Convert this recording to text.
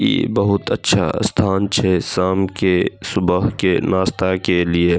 इ बहुत अच्छा स्थान छै शाम के सुबह के नाश्ता के लिए।